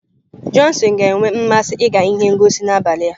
Johnson ga-enwe mmasị ịga ihe ngosi n'abalị a.